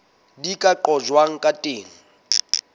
di ka qojwang ka teng